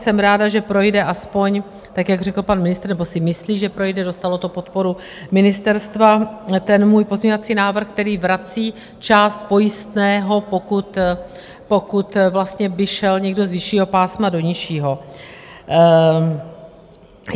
Jsem ráda, že projde aspoň, tak jak řekl pan ministr - nebo si myslí, že projde, dostalo do podporu ministerstva, ten můj pozměňovací návrh, který vrací část pojistného, pokud vlastně by šel někdo z vyššího pásma do nižšího.